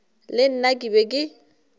le nna ke be ke